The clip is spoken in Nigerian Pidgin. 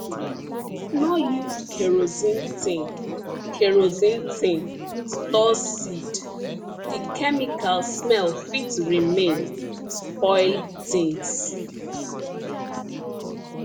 no use kerosene tin kerosene tin store seed the chemical smell fit remain spoil things